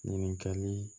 Ɲininkali